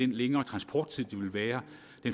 den længere transporttid der vil være